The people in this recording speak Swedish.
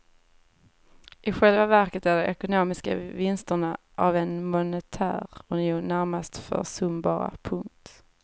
I själva verket är de ekonomiska vinsterna av en monetär union närmast försumbara. punkt